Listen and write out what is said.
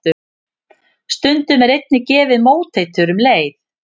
Stundum er einnig gefið móteitur um leið.